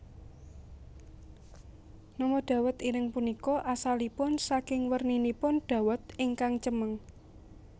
Nama dawet ireng punika asalipun saking werninipun dawet ingkang cemeng